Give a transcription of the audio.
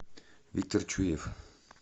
виктор чуев